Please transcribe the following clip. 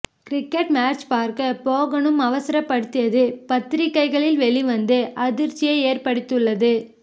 cricket match பார்க்க போகணும் அவசரப்படுத்தியது பத்திரிக்கைகளில் வெளிவந்து அதிர்ச்சியை ஏற்படுத்தியுள்ளது